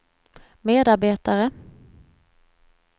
medarbetare